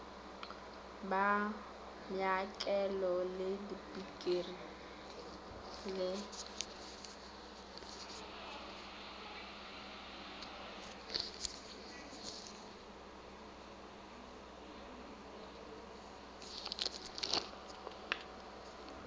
ba maokelo le dikliniki di